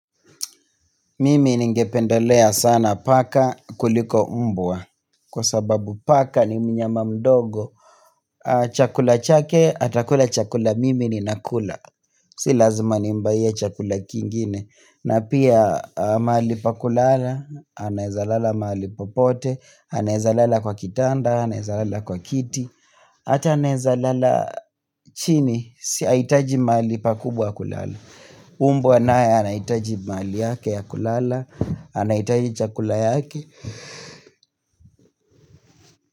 Mimi ningependelea sana paka kuliko mbwa Kwa sababu paka ni mnyama mdogo Chakula chake, atakula chakula, mimi ni nakula Si lazima nimbuyie chakula kingine na pia mahali pakulala, anawezalala mahali popote Anawezalala kwa kitanda, anawezalala kwa kiti Ata anawezalala chini, haitaji mahali pakubwa kulala mbwa nae anayehitaji mahali yake ya kulala anahitaji chakula ya haki.